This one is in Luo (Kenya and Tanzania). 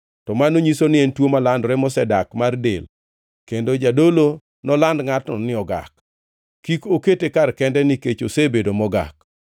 to mano nyiso ni en tuo malandore mosedak mar del kendo jadolo noland ngʼatno ni ogak. Kik okete kar kende nikech osebedo mogak.